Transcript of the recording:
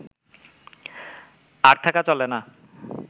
আর থাকা চলে না